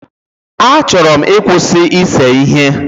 A chọrọ m ịkwụsị ise ihe